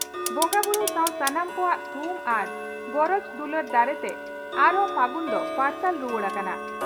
ᱵᱚᱸᱜᱟᱵᱩᱨᱩ ᱥᱟᱣ ᱥᱟᱱᱟᱢ ᱠᱚᱣᱟᱜ ᱛᱷᱩᱢ ᱟᱨ ᱜᱚᱨᱚᱡᱽ ᱫᱩᱞᱟᱹᱲ ᱫᱟᱲᱮᱛᱮ ᱟᱨᱦᱚᱸ ᱯᱷᱟᱹᱜᱩᱱ ᱫᱚ ᱯᱟᱨᱥᱟᱞ ᱨᱩᱣᱟᱹᱲ ᱟᱠᱟᱱᱟ ᱾